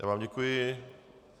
Já vám děkuji.